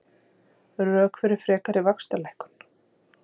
Rök fyrir frekari vaxtalækkun